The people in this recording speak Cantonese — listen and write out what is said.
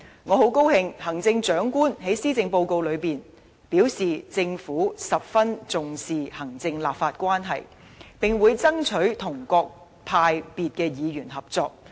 我很高興，行政長官在施政報告中表示，政府十分重視行政立法關係，並會爭取與各派別議員合作。